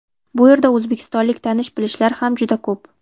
Bu yerda o‘zbekistonlik tanish-bilishlar ham juda ko‘p.